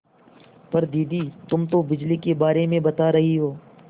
पर दादी तुम तो बिजली के बारे में बता रही हो